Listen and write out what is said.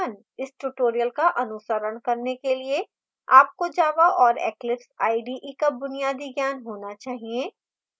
इस tutorial का अनुसरण करने के लिए आपको java और eclipse ide का बुनियादी ज्ञान होना चाहिए